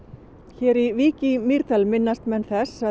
hér í Vík í Mýrdal minnast menn þess að